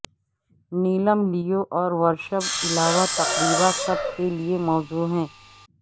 نیلم Leo اور ورشب علاوہ تقریبا سب کے لئے موزوں ہے